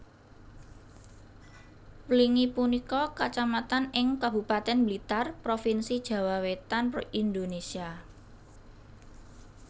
Wlingi punika kacamatan ing Kabupatèn Blitar Provinsi Jawa Wétan Indonésia